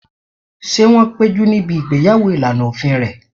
Ṣé wọ́n péjú níbi ìgbéyàwó ìlànà òfin rẹ̀?